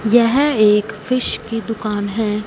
यह एक फिश की दुकान है।